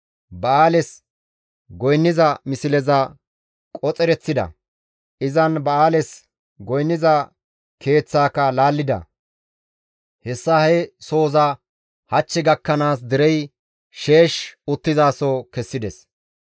Ba7aales goynniza misleza qoxereththida; izan ba7aales goynniza keeththaaka laallida; hessa he sohoza hach gakkanaas derey sheesh uttizaso kessides.